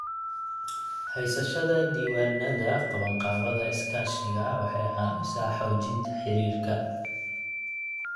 Haysashada diiwaannada qabanqaabada iskaashiga waxay caawisaa xoojinta xiriirka.